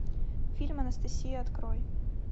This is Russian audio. фильм анастасия открой